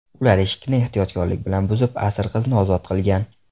Ular eshikni ehtiyotkorlik bilan buzib, asir qizni ozod qilgan.